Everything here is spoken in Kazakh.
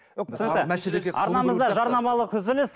арнамызда жарнамалық үзіліс